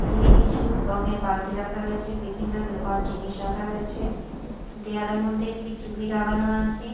এদিকে কিছু রঙের বালতি রাখা রয়েছে বিভিন্ন লোহার জিনিস রাখা রয়েছে দেওয়ালের মধ্যে একটি টি_ভি লাগানো আছে।